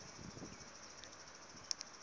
ancient aetolians